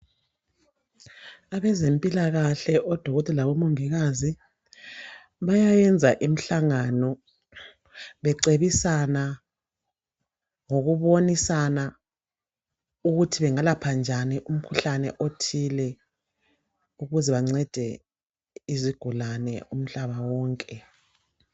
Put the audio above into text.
Abezempilakahle oDokotela labo Mongikazi bayayenza imihlangano becebisana ngokubonisana ukuthi bengalapha njani umkhuhlane othile ukuze bancede izigulane umhlaba wonke.